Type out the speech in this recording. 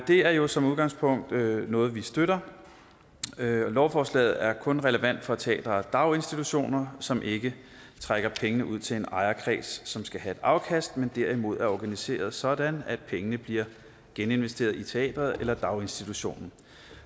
det er jo som udgangspunkt noget vi støtter lovforslaget er kun relevant for teatre og daginstitutioner som ikke trækker penge ud til en ejerkreds som skal have et afkast men derimod er organiseret sådan at pengene bliver geninvesteret i teatret eller daginstitutionen